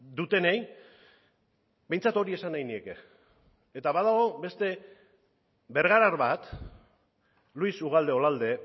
dutenei behintzat hori esan nahi nieke eta badago beste bergarar bat luis ugalde olalde